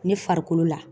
Ne farikolo la